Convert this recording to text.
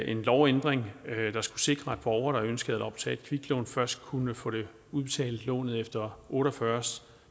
en lovændring der skulle sikre borgere der ønskede at optage et kviklån først kunne få udbetalt lånet efter otte og fyrre